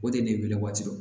O de ye wele waati dɔ